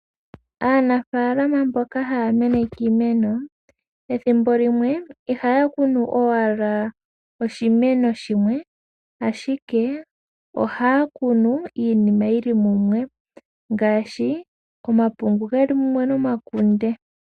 Aanafaalama mboka haya kunu iimeno, ethimbo limwe ihaya kunu owala oshimeno shimwe ashike, ohaya kunu iimeno yayooloka ngaashi omapungu nomakunde.